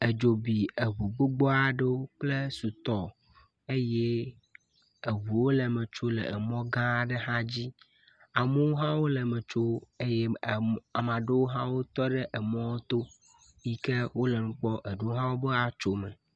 Edzo bi eŋu gbogbo aɖewo kple sutɔ eye eŋuwo le eme tsom le emɔ gã aɖe dzi hã dzi amewo hã wo le me tso eye em ame aɖewo hã wotɔ ɖe emɔ to yi ke wo le nu kpɔm eɖewo hã wobe atso eme.